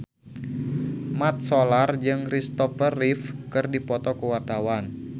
Mat Solar jeung Christopher Reeve keur dipoto ku wartawan